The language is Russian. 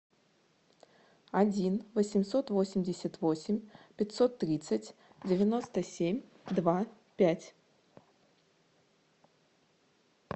один восемьсот восемьдесят восемь пятьсот тридцать девяносто семь два пять